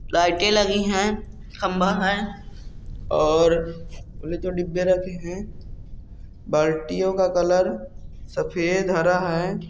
लाइटे लगी है खंभा है और बोले तो डिब्बे रखे है बाल्टियों का कलर सफेद हरा है।